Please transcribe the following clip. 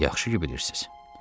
Yaxşı ki, bilirsiz.